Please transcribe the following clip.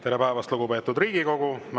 Tere päevast, lugupeetud Riigikogu!